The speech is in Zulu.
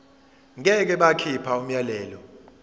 ngeke bakhipha umyalelo